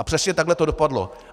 A přesně takhle to dopadlo.